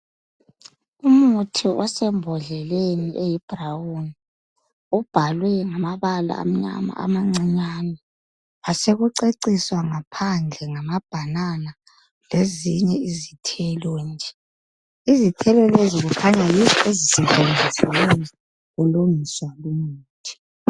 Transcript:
Umuthi osembodleleni eyi brown .Ubhalwe ngamabala amnyama amancinyani ,kwasekuceciswa ngaphandle ngamabanana lezinye izithelo nje .izithelo lezi kukhanya yizo ezisetshenzisiweyo kulungiswa Lumuthi.